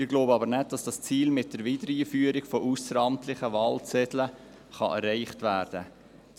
Ich glaube aber nicht, dass dieses Ziel mit der Wiedereinführung von ausseramtlichen Wahlzetteln erreicht werden kann.